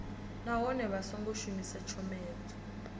nahone vha songo shumisa tshomedzo